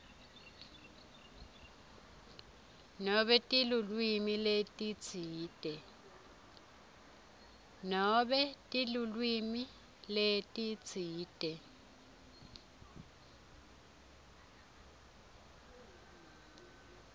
nobe tilwimi letitsite